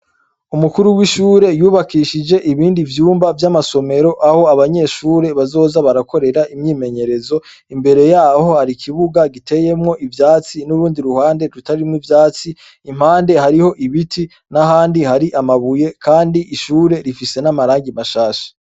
Umukuru w'ishuri yubakishije ibindi vyumba vyamasomero aho abanyeshuri bazoza barakorera imyimenyerezo imbere yaho hari ikibuga giteyemwo ivyatsi n'urundi ruhande rutarimwo ivyatsi impande hariho ibiti n'ahandi hari amabuye kandi ishuri rifise n'amarangi mashasha.